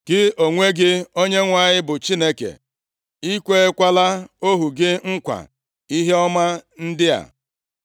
Gị onwe gị, Onyenwe anyị, bụ Chineke. I kweekwala ohu gị nkwa ihe ọma ndị a.